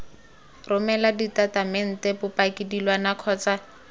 romela ditatamente bopaki dilwana kgotsa